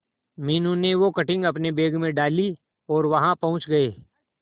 मीनू ने वो कटिंग अपने बैग में डाली और वहां पहुंच गए